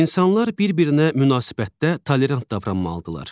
İnsanlar bir-birinə münasibətdə tolerant davranmalıdırlar.